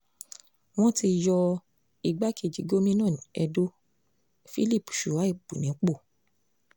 wọ́n ti yọ igbákejì gómìnà edo philip shuaib nípò